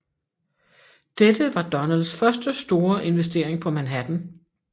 Dette var Donalds første store investering på Manhattan